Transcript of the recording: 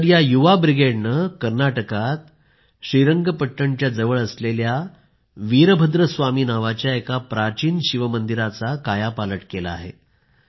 तर या युवा ब्रिगेडने कर्नाटकात श्रीरंगपट्णच्या जवळ स्थित वीरभद्र स्वामी नावाच्या एका प्राचीन शिवमंदिराचा कायापालट केला आहे